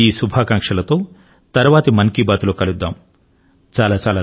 ఈ శుభాకాంక్షల తో తరువాతి మన్ కీ బాత్ మనసు లో మాట కార్యక్రమం లో కలుసుకొందాము